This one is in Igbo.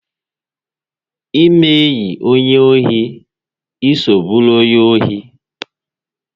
Ịme enyi onye ohi, ịso bụrụ onye ohi!